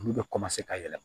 Olu bɛ ka yɛlɛma